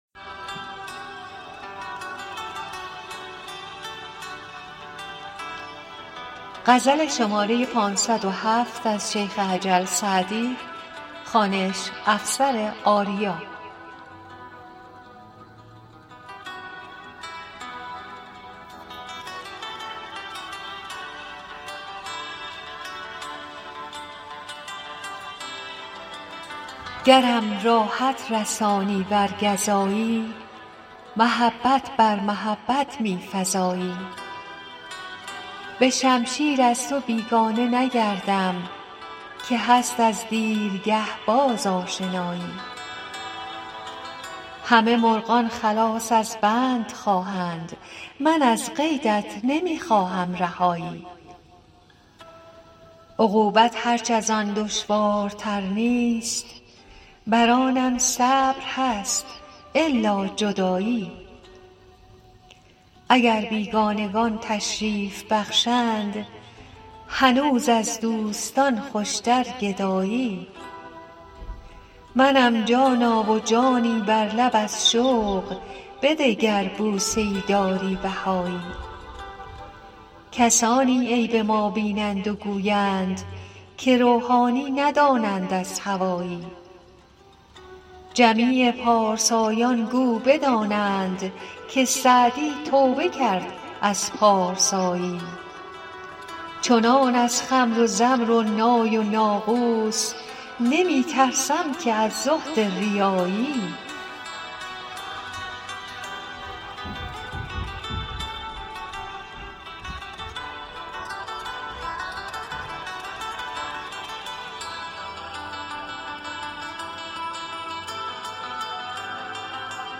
گرم راحت رسانی ور گزایی محبت بر محبت می فزایی به شمشیر از تو بیگانه نگردم که هست از دیرگه باز آشنایی همه مرغان خلاص از بند خواهند من از قیدت نمی خواهم رهایی عقوبت هرچ از آن دشوارتر نیست بر آنم صبر هست الا جدایی اگر بیگانگان تشریف بخشند هنوز از دوستان خوشتر گدایی منم جانا و جانی بر لب از شوق بده گر بوسه ای داری بهایی کسانی عیب ما بینند و گویند که روحانی ندانند از هوایی جمیع پارسایان گو بدانند که سعدی توبه کرد از پارسایی چنان از خمر و زمر و نای و ناقوس نمی ترسم که از زهد ریایی